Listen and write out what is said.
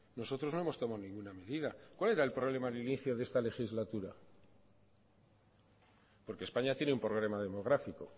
nosotros no hemos tomado ninguna medida cuál era el programa de inicio de esta legislatura porque españa tiene un problema demográfico